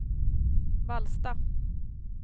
Vallsta